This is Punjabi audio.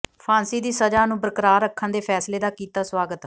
ਫਾਂਸੀ ਦੀ ਸਜ਼ਾ ਨੂੰ ਬਰਕਰਾਰ ਰੱਖਣ ਦੇ ਫੈਸਲੇ ਦਾ ਕੀਤਾ ਸਵਾਗਤ